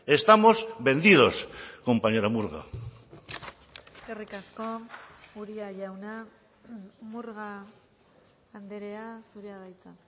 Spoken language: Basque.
estamos vendidos compañera murga eskerrik asko uria jauna murga andrea zurea da hitza